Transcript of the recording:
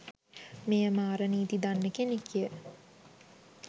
මෙයා මාර නීති දන්න කෙනෙක් ය.